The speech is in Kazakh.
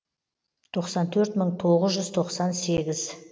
тоқсан төрт мың тоғыз жүз тоқсан сегіз